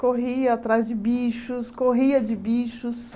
Corria atrás de bichos, corria de bichos.